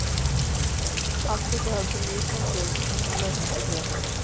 Alltså behövs en ny konsult som kan lösa problemen.